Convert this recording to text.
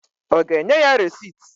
Ọ ga-enye ya resit?